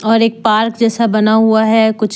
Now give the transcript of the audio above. और एक पार्क जैसा बना हुआ है कुछ--